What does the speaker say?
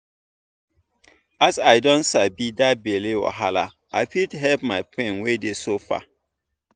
as i don sabi that belle wahala i fit help my friend wey dey suffer.